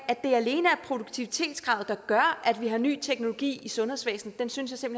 at det alene er produktivitetskravet der gør at vi har ny teknologi i sundhedsvæsenet synes jeg